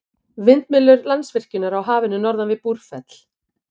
Vindmyllur Landsvirkjunar á Hafinu norðan við Búrfell.